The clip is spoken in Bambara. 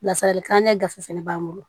Lasali kilankɛ gafe fɛnɛ b'an bolo